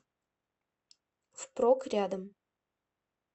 впрок рядом